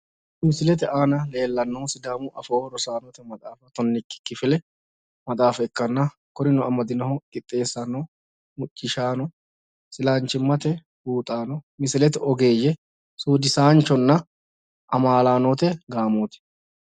Misilete aana leellannohu sidaamu afoo rosaanote maxaafa tonnikki kifile maxaafa ikkanna, kurino amadinohu qixxeessaano, muccishaano, isilaanchimmate buuxaano, misilete ogeeyye, suudisaanchonna amaalaanote gaamooti.